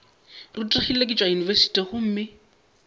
rutegile ke tšwa yunibesithing gomme